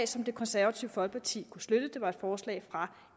som det konservative folkeparti kunne støtte det var et forslag fra